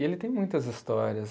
E ele tem muitas histórias.